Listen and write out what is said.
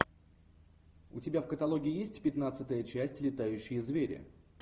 у тебя в каталоге есть пятнадцатая часть летающие звери